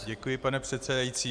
Děkuji, pane předsedající.